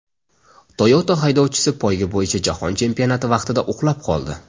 Toyota haydovchisi poyga bo‘yicha jahon chempionati vaqtida uxlab qoldi .